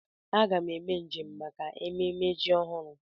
M ga eme njem maka ememme ji ọhụrụ.